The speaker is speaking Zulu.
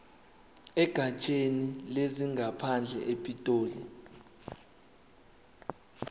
egatsheni lezangaphandle epitoli